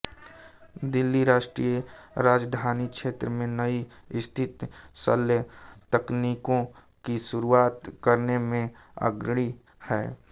दिल्ली राष्ट्रीय राजधानी क्षेत्र में नई अस्थि शल्य तकनीकों की शुरूआत करने में अग्रणी है